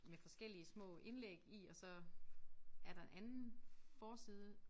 Med forskellige små indlæg i og så er der anden forside